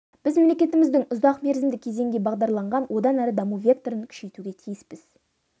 біз мемлекетіміздің ұзақ мерзімді кезеңге бағдарланған одан әрі даму векторын күшейтуге тиіспіз